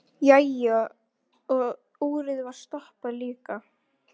Jæja, og úrið var stoppað líka.